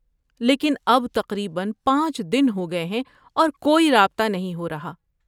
لیکن اب تقریباً پانچ دن ہو گئے ہیں اور کوئی رابطہ نہیں ہو رہا۔